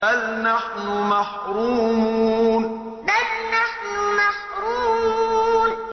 بَلْ نَحْنُ مَحْرُومُونَ بَلْ نَحْنُ مَحْرُومُونَ